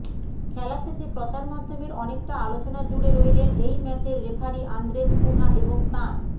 খেলা শেষে প্রচারমাধ্যমের অনেকটা আলোচনা জুড়ে রইলেন এই ম্যাচের রেফারি আন্দ্রেস কুনহা এবং তাঁর